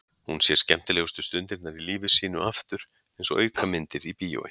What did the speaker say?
Hún sér skemmtilegustu stundirnar í lífi sínu aftur einsog aukamyndir í bíói.